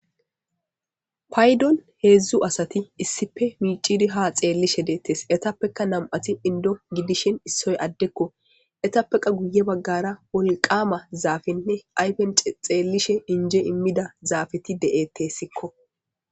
paydon heedzdzu asati issife miicidi ha xeellishe deettes etappeka nam7ati indo gidishin issoy addekko etappeka guye baggara wolqama zaafinne ayfen xeellishe inje immida zaafeti de7ettessikko